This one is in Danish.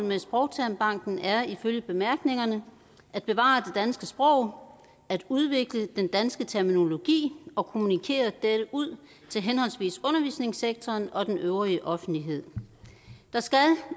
med sprogtermbanken er ifølge bemærkningerne at bevare det danske sprog at udvikle den danske terminologi og kommunikere dette ud til henholdsvis undervisningssektoren og den øvrige offentlighed der skal